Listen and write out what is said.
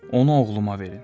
Onu oğluma verin.